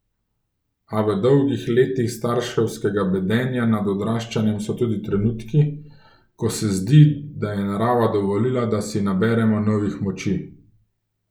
A v dolgih letih starševskega bedenja nad odraščanjem so tudi trenutki, ko se zdi, da je narava dovolila, da si naberemo novih moči.